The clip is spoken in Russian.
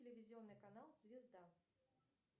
телевизионный канал звезда